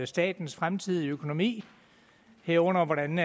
statens fremtidige økonomi herunder hvordan